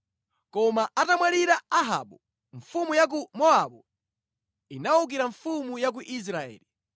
Koma atamwalira Ahabu, mfumu ya ku Mowabu inawukira mfumu ya ku Israeli.